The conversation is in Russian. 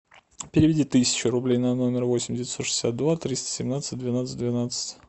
переведи тысячу рублей на номер восемь девятьсот шестьдесят два триста семнадцать двенадцать двенадцать